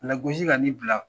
Lagosi ka ni bila